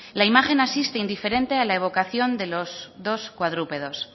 la imagen asiste indiferente a la evocación de los dos cuadrúpedos